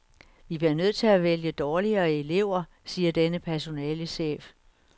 Vi bliver nødt til at vælge dårligere elever, siger denne personalechef.